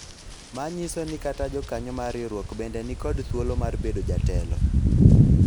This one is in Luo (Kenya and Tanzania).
manyiso ni kata jokanyo mar riwruok bende nikod thuolo mar bedo jatelo